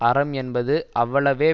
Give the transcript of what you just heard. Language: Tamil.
அறம் என்பது அவ்வளவே